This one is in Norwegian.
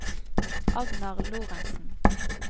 Agnar Lorentsen